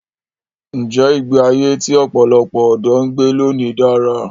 Ǹjẹ́ ìgbé ayé tí ọ̀pọ̀lọpọ̀ ọ̀dọ́ ń gbé lónìí dára?